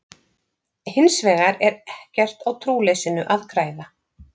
Hins vegar er ekkert á trúleysinu að græða.